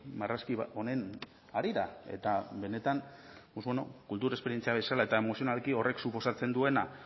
marrazki honen harira eta benetan pues bueno kultur esperientzia bezala eta emozionalki horrek suposatzen duena